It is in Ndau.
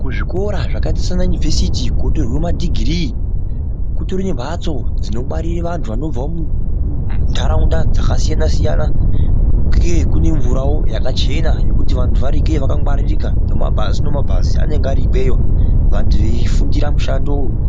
Kuzvikora zvakaita semaunivhesiti kunotorwa madhigirii kutori nemhatso dzinobare vantu vanobva mundaunda dzakasiyana siyana uye kuno mvurawo yakachena yejutu vantu varikweyo vangwiririke nebhazi anenge arikweyo antu eifuntira